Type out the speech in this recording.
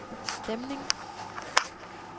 stemning